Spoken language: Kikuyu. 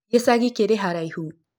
Gĩcagĩ kĩrĩ haraĩhũ?